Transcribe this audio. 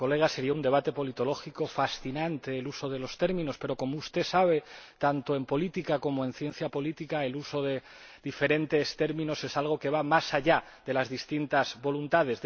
Sería un debate politológico fascinante el uso de los términos, pero, como usted sabe, tanto en política como en ciencia política el uso de diferentes términos es algo que va más allá de las distintas voluntades.